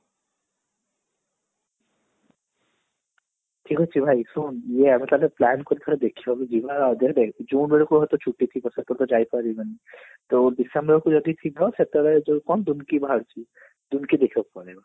ଠିକ ଅଛି ଭାଇ ଶୁଣୁ ମୁଁ ଏବେ କେବେ plan କରୁଛି ଗୋଟେ ଥର ଦେଖିବାକୁ ଯିବା June ବେଳକୁ ହୁଏତ ଛୁଟି ଥିବ ସେତେବେଳେ ତ ଯାଇ ପାରିବନି ଆଉ December କୁ ଯଦି ଥିବା ସେତେ ବେଳେ ଯୋଉ କଣ ଦୁମକି ବାହାରୁଛି ଦୁମକି ଦେଖିବାକୁ ପଳେଇବା